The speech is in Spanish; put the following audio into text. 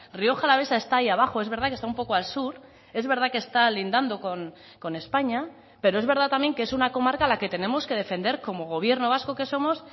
rioja alavesa está ahí abajo es verdad que está un poco al sur es verdad que está lindando con españa pero es verdad también que es una comarca a la que tenemos que defender como gobierno vasco que somos